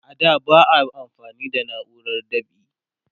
a da ba a amfani da nauran dab'i